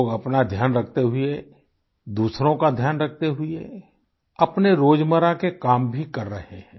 लोग अपना ध्यान रखते हुए दूसरों का ध्यान रखते हुए अपने रोजमर्रा के काम भी कर रहे हैं